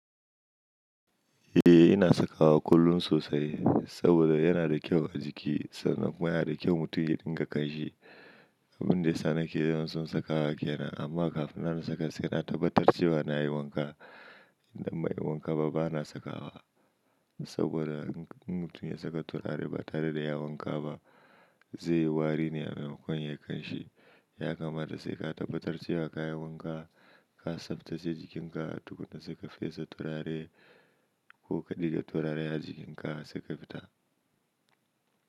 Eh ina sakawa kullum sosai saboda yana da kyau a jiki sannan kuma yana da kyau mutum ya dinga kamshi. Abin da yasa nake yawan son sakawa kenan amma kafin na saka sai na tabbatar cewa na yi wanka. Idan bai yi wanka ba bana sakawa saboda in mutum ya saka turare ba tare da ya wanka ba zai yi wari ne a maimakon yayi kanshi. Ya kamata sai ka tabbatar cewa ka yi wanka, ka tsaftace jikinka tukuna sai ka fesa turare ko ka ɗiga turare a jikinka sai ka fita.